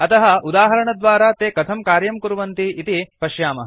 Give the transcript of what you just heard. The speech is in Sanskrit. अतः उदाहरणद्वारा ते कथं कार्यं कुर्वन्ति इति पश्यामः